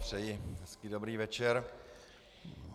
Přeji hezký dobrý večer.